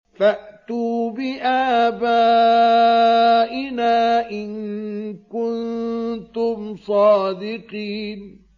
فَأْتُوا بِآبَائِنَا إِن كُنتُمْ صَادِقِينَ